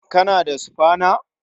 Kana da sufana?